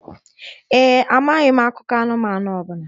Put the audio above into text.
Ee e, amaghị m akụkọ anụmanụ ọ bụla